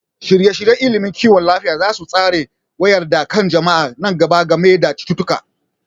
Shirye-shiryen ilimin kiwon lafiya za su tsara wayar da kan jama'a na gaba game da cututtuka.